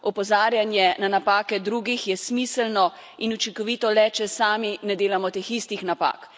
Opozarjanje na napake drugih je smiselno in učinkovito le, če sami ne delamo teh istih napak.